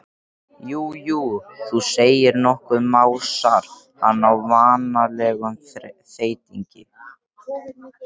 Já, jú, þú segir nokkuð, másar hann á vanalegum þeytingi.